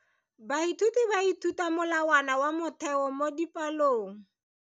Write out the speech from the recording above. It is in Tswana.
Baithuti ba ithuta ka molawana wa motheo mo dipalong.